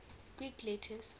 greek letters